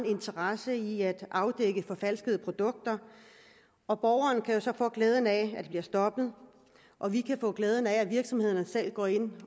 interesse i at afdække er forfalskede produkter og borgeren kan jo så få glæde af at det bliver stoppet og vi kan få glæde af at virksomhederne selv går ind